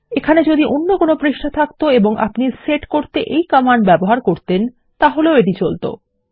এখানে যদি অন্য কোনো পৃষ্ঠা থাকত এবং আপনি সেট করতে এই কোড ব্যবহার করতেন তাহলেও এটি চলত